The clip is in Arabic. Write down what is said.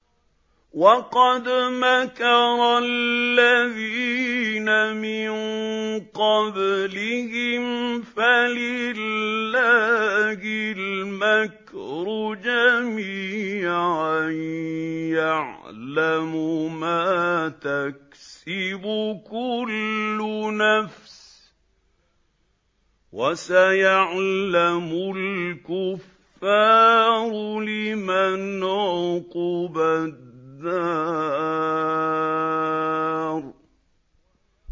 وَقَدْ مَكَرَ الَّذِينَ مِن قَبْلِهِمْ فَلِلَّهِ الْمَكْرُ جَمِيعًا ۖ يَعْلَمُ مَا تَكْسِبُ كُلُّ نَفْسٍ ۗ وَسَيَعْلَمُ الْكُفَّارُ لِمَنْ عُقْبَى الدَّارِ